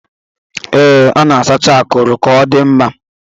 Ee, a na-asacha akuru ka ọ dị mma.